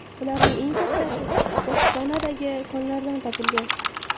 Ularning eng kattasi Botsvanadagi konlardan topilgan.